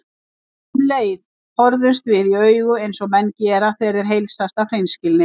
Um leið horfðumst við í augu eins og menn gera þegar þeir heilsast af hreinskilni.